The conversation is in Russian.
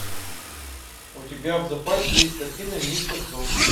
у тебя в запасе есть картина мистер джонс